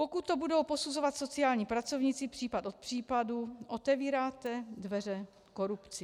Pokud to budou posuzovat sociální pracovníci případ od případu, otevíráte dveře korupci.